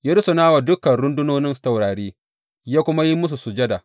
Ya rusuna wa dukan rundunonin taurari, ya kuma yi musu sujada.